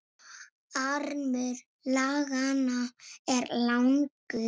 Armur laganna er langur